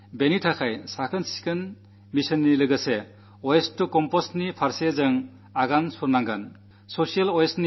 അതുകൊണ്ട് ശുചിത്വ മിഷനൊപ്പം വേസ്റ്റ് ടു കമ്പോസ്റ്റ് എന്നതിലേക്ക് നാം അനിവാര്യമായും തിരിയണം